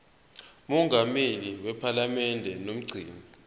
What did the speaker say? mongameli wephalamende nomgcini